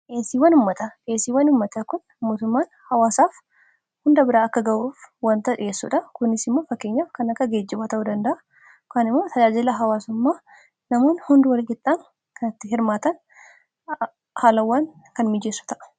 heesiwwammata pheesiiwwan ummata kun mootumaan hawaasaaf hunda biraa akka ga'uuf wantaa dhiheessuudha kunisimma fakkeenyaaf kan akka geejji waa ta'uu dandaa kaan imoo tajaajilaa hawaasammaa namoon hund walgixaan kanatti hirmaatan haalawwan kan mijeessa ta'a